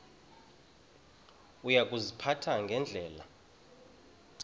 uya kuziphatha ngendlela